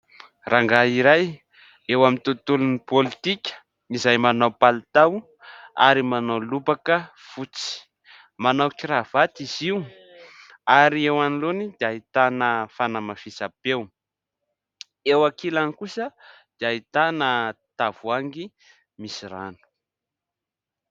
Rangahy iray eo amin'ny tontolon'ny politika izay manao palitao ary manao lobaka fotsy, manao kiravaty izy io ary eo anoloany dia ahitana fanamafisam-peo eo ankilany kosa dia ahitana tavoahangy misy rano.